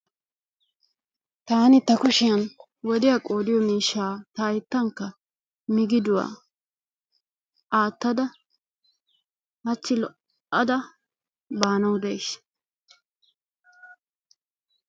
Taani ta kushiyan wodiya qoodiyo miishshaa ta hayttankka miggiduwa aattada hachchi lo"ada baanawu days.